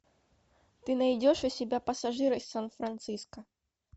ты найдешь у себя пассажира из сан франциско